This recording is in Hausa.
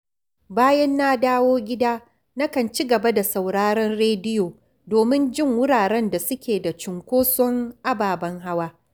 Bayan na dawo gida, nakan ci gaba da sauraron rediyo domin jin wuraren da suke da cunkoson ababen hawa